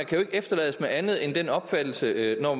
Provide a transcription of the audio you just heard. kan efterlades med andet end den opfattelse når